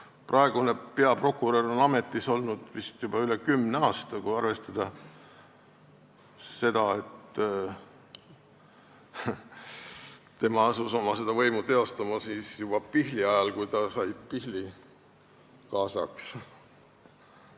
Praegune peaprokurör on ametis olnud vist juba üle kümne aasta, kui arvestada seda, et tema asus võimu teostama juba Pihli ajal, kui ta sai Pihli kaasaks.